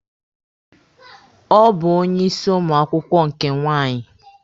Ọ bụ onye isi ụmụ akwụkwọ nke nwaanyị.